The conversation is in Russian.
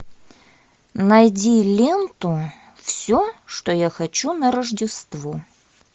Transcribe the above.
найди ленту все что я хочу на рождество